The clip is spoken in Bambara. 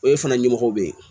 O ye fana ɲɛmɔgɔ bɛ yen